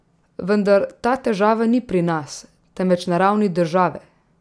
Vendar ta težava ni pri nas, temveč na ravni države.